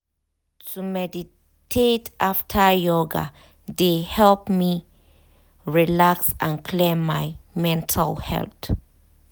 to meditate after yoga de help me relax and clear my mental head.